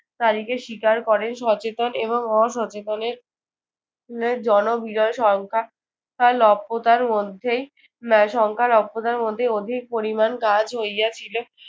তারিখে স্বীকার করেন সচেতন এবং অসচেতনের নে জনবিজয় সংখ্যা লভ্যতার মধ্যেই আহ সংখ্যা লভ্যতার মধ্যেই অধিক পরিমাণ কাজ হইয়াছিল।